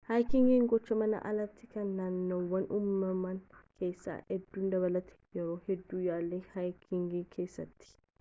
haayikingiin gochaa mana alati kan naannoowwan uumamaa keessa adeemu dabalatu yeroo hedduu yaali haayikiingi keessatti